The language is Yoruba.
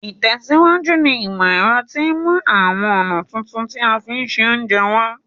Ìtẹ̀síwájú ní ìmọ̀ ero ti mú àwon ọ̀nà tuntun ti a fi n se ounje wa